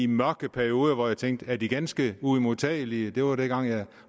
mørke perioder hvor jeg tænkte er de ganske uimodtagelige det var dengang jeg